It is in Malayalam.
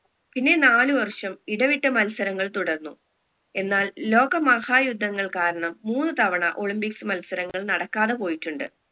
പിന്നെ നാല് വർഷം ഇടവിട്ട മത്സരങ്ങൾ തുടർന്നു എന്നാൽ ലോകമഹായുദ്ധങ്ങൾ കാരണം മൂന്നു തവണ olympics മത്സരങ്ങൾ നടക്കാതെ പോയിട്ടുണ്ട്